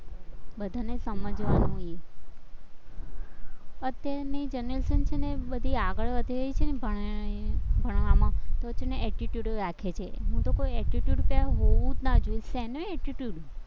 બધાને સમજવાનું અત્યારની generation છે ને બધી આગળ વઘી રહી છે ને ભણવામાં તો છે ને attitude રાખે છે હું તો ક્વ attitude હોવો જ ન જોઈએ, શેનો attitude